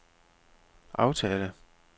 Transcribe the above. aftale